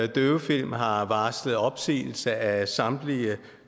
døvefilm har varslet opsigelse af samtlige